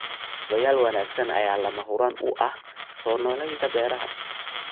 Kaabayaal wanaagsan ayaa lama huraan u ah soo noolaynta beeraha.